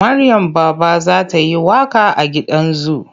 Maryam Baba za ta yi waƙa a gidan zu.